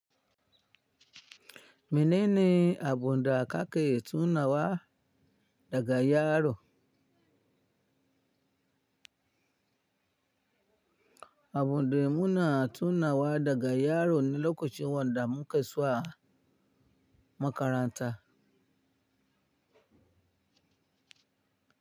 Menene abunda kake tunawa daga yaro? Abunda muna tunawa daga yaro ne lokacin wanda mu ke zuwa makaranta.